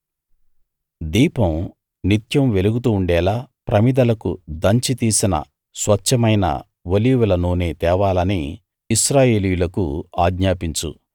దీపం నిత్యం వెలుగుతుండేలా ప్రమిదలకు దంచి తీసిన స్వచ్ఛమైన ఒలీవల నూనె తేవాలని ఇశ్రాయేలీయులకు ఆజ్ఞాపించు